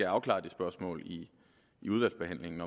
afklaret det spørgsmål i udvalgsbehandlingen